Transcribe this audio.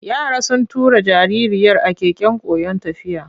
Yara sun tura jaririyar a keken koyon tafiya.